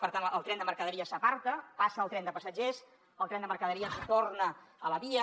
per tant el tren de mercaderies s’aparta passa el tren de passatgers el tren de mercaderies torna a la via